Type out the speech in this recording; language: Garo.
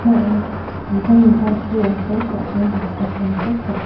dingtang dingtang pulrangko tape nitoataniko dak--